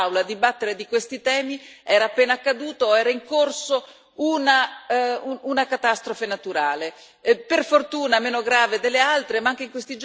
Non è un caso che tutte le volte, signor Commissario, che ci siamo trovati in quest'Aula a dibattere di questi temi, era appena accaduta o era in corso una catastrofe naturale.